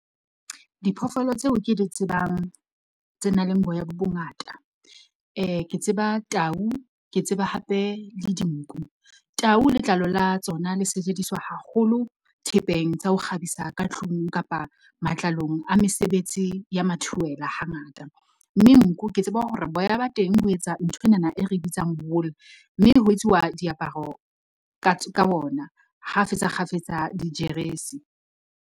Diphoofolo tseo ke di tsebang tse nang le boya bo bongata, ke tseba tau, ke tseba hape le dinku. Tau letlalo la tsona le sejediswe haholo thepeng tsa ho kgabisa ka tlung kapa matlalong a mesebetsi ya mathuwela hangata. Mme nku ke tseba hore boya ba teng bo etsa nthwena e re bitsang wool, mme ho etsuwa diaparo ka ona kgafetsa kgafetsa, dijeresi.